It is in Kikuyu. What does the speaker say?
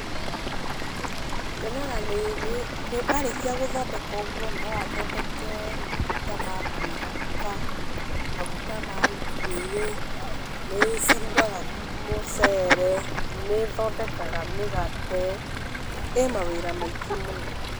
Nyonaga nĩ nĩ nĩ arĩkia gũthondeka ũguo no athondeke maguta ma kwĩhaka, maguta ma njuĩrĩ, nĩcirugaga mũcere, nĩĩthondekaga mũgate, ĩ mawĩra maingĩ mũno.